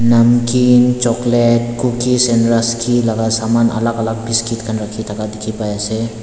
namkeen chocolate cookies and rusky laga saman alag alag biscuit khan rakhi thaka dikhi pai ase.